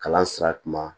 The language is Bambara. Kalan sira kun ma